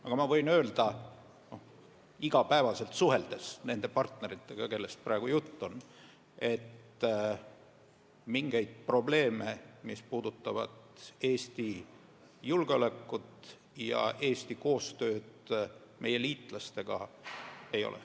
Aga olles iga päev suhelnud nende partneritega, kellest praegu jutt on, võin ma öelda, et mingeid probleeme, mis puudutaksid Eesti julgeolekut ja koostööd meie liitlastega, ei ole.